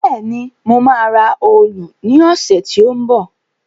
Bẹ́ẹ̀ni, mo máa ra òòlù ní ọ̀sẹ̀ tí ó ń bọ̀